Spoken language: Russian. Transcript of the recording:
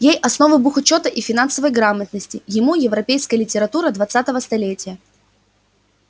ей основы бухучёта и финансовой грамотности ему европейская литература двадцатого столетия